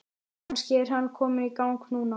Kannski er hann kominn í gang núna?